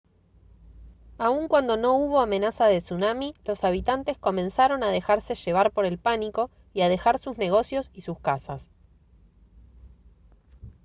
aun cuando no hubo amenaza de tsunami los habitantes comenzaron a dejarse llevar por el pánico y a dejar sus negocios y sus casas